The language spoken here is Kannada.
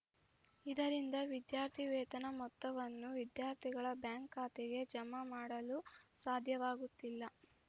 ಇದರಿಂದ ವಿದ್ಯಾರ್ಥಿವೇತನ ಮೊತ್ತವನ್ನು ವಿದ್ಯಾರ್ಥಿಗಳ ಬ್ಯಾಂಕ್‌ ಖಾತೆಗೆ ಜಮಾ ಮಾಡಲು ಸಾಧ್ಯವಾಗುತ್ತಿಲ್ಲ